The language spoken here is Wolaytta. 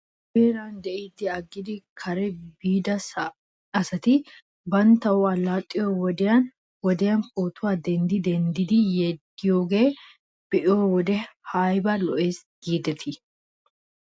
Nu heera de'iiddi aggidi kare biida asati banttawu allaxxiyoo wodiyan wodiyan pootuwaa denddi denddidi yeddiyoogaa be'iyoo wode ayba lo'es giidetii?